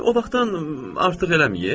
O vaxtdan artıq eləmiyib?